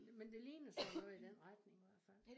Men det ligner sådan noget i den retning i hvert fald